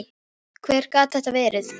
Hver gat þetta verið?